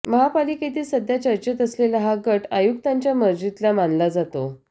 महापालिकेतील सध्या चर्चेत असलेला हा गट आयुक्तांच्या मर्जीतला मानला जातो